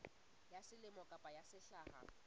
ya selemo kapa ya sehla